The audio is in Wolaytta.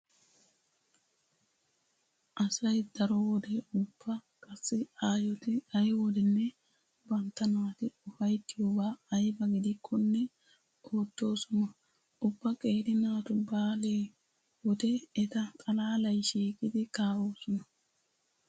Asay daro wode ubba qassi aayoti ay wodenne bantta naati ufayttiyobaa ayba gidikkonne oottoosona. Ubba qeeri naatu baale wode eta xalaalay shiiqidi kaa'osona.